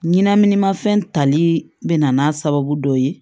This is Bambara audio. Ɲinɛma fɛn tali bɛna n'a sababu dɔ ye